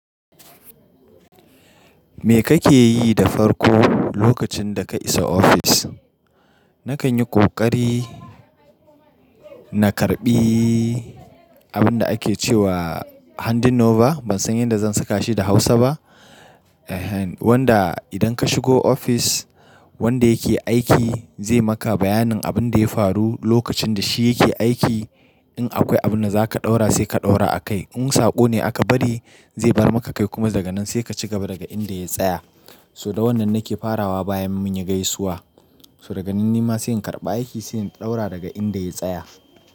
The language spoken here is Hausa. Me kake yi da farko lokacin da ka isa ofis? Nakan yi ƙoƙari na karɓi abin da ake ce wa handing over. Ban san yadda zan saka shi da Hausa ba. Eh, wanda idan ka shigo office wanda yake aiki zai maka bayanin abin da ya faru lokacin da shi yake aiki. In akwai abin da zaka ɗaura sai ka ɗaura a kai. In saƙo ne aka bari zai bar maka kai. Kuma daga nan sai ka cigaba daga inda ya tsaya. So da wannan nake farawa bayan mun yi gaisuwa. So daga nan nima sai in karɓa aiki, sai in ɗaura daga inda ya tsaya.